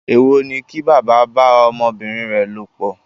Èwò ni kí bàbá bá ọmọbìnrin rẹ̀ lòpọ̀.